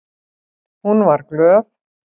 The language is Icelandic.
Hún var glöð.